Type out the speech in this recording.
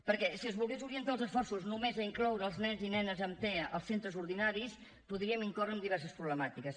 perquè si es volgués orientar els esforços només a incloure els nens i nenes amb tea als centres ordinaris podríem incórrer en diverses problemàtiques